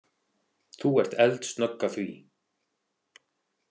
Þú ert eldsnögg að því.